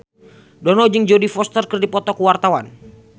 Dono jeung Jodie Foster keur dipoto ku wartawan